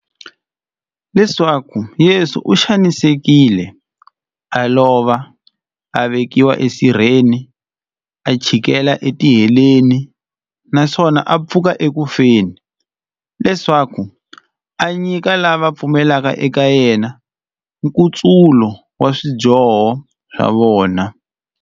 Leswaku Yesu u xanisekile, a lova, a vekiwa esirheni, a chikela etiheleni, naswona a pfuka eku feni, leswaku a nyika lava va pfumelaka eka yena, nkutsulo wa swidyoho swa vona.